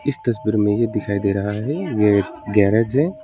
इस तस्वीर में यह दिखाई दे रहा है कि यह एक गैरेज है।